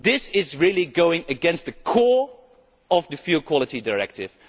This is really going against the core of the Fuel Quality Directive.